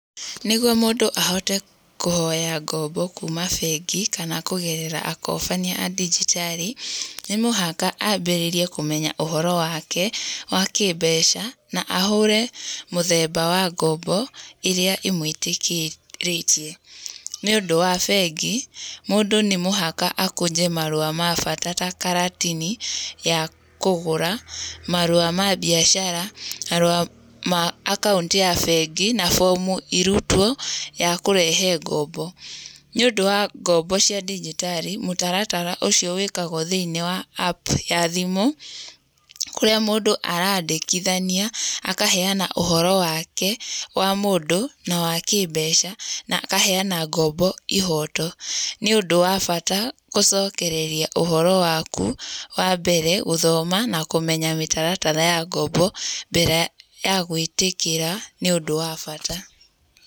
Nĩguo mũndũ ahote kũhoya ngombo kuuma bengi kana kũgerera akobania a dijitali , nĩ mũhaka ambĩrĩrie kũmenya ũhoro wake wa kĩmbeca, na ahũre mũthemba wa ngombo ĩrĩa ĩmwĩtĩkĩrĩtie. Nĩũndũ wa bengi, mũndũ nĩ mũhaka akũnje marũa ma bata ta karatini ya kũgũra marũa ma mbiacara, marũa ma akaũnti ya bengi, na form irutwo ya kũrehe ngombo. Niũndũ wa ngombo cia dijitali , mũtaratara ũcio wĩĩkagwo thĩiniĩ wa app ya thimũ, kũrĩa mũndũ araandĩkithania akaheana ũhoro wake wa mũndũ na wa kĩmbeca, na akaheana ngombo ihoto. Nĩ ũndũ wa bata kũcokereria ũhoro waku, wa mbere, gũthoma na kũmenya mĩtaratara ya ngombo mbere ya gwĩtĩkĩra, nĩ ũndũ wa bata.